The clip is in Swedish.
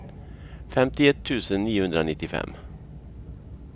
femtioett tusen niohundranittiofem